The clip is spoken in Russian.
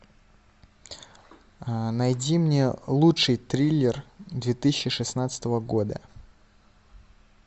найди мне лучший триллер две тысячи шестнадцатого года